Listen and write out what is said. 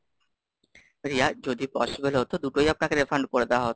রিয়া, যদি possible হতো দুটোই আপনাকে referred করে দেওয়া হতো।